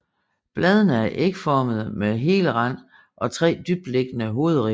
Bladene er ægformede med hel rand og tre dybtliggende hovedribber